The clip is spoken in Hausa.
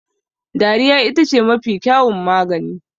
Dariya ita ce mafi kyawun magani